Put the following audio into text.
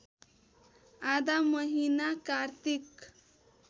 आधा महिना कार्तिक